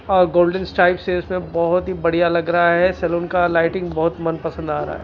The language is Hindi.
और गोल्डन स्ट्राइप से उसमें बहुत ही बढ़िया लग रहा है सैलून का लाइटिंग बहुत मन पसंद आ रहा है।